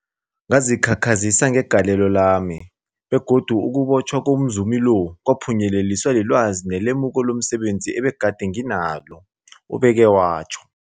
Ngazikhakhazisa ngegalelo lami, begodu ukubotjhwa komzumi lo kwaphunyeleliswa lilwazi nelemuko lomse benzi ebegade nginalo, ubeke watjho.